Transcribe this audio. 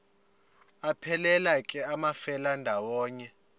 aphelela ke amafelandawonye